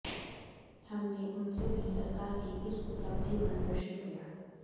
हमने उनसे भी सरकार की इस उपलब्धि पर प्रश्न किया